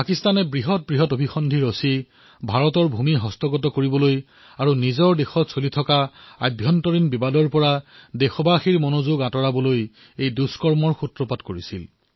পাকিস্তানে ভাৰতৰ ভূমি হস্তগত কৰিবলৈ তথা দেশৰ অন্তঃকলহৰ সুযোগ লৈ লক্ষ্য বিপথে নিবলৈ দুঃসাহস কৰিছিল